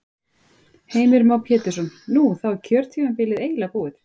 Heimir Már Pétursson: Nú, þá er kjörtímabilið eiginlega búið?